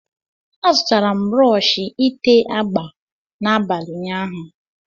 A zụtara m brọsh ité agba n'abalị ụnyaahụ.